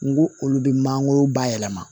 N go olu be mangoro ba yɛlɛma